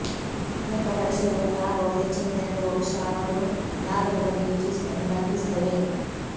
ಲೆಕ್ಕಪರಿಶೋಧಕ ಲಾಭವು ಹೆಚ್ಚಿನ ಜನರು ಬಹುಶಃ ಅವರು ಲಾಭದ ಬಗ್ಗೆ ಯೋಚಿಸುವುದನ್ನು ಕಲ್ಪಿಸುತ್ತವೆ